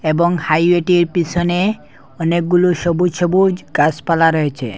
এবং হাইওয়েটির পিসনে অনেকগুলু সবুজ সবুজ গাসপালা রয়েছে।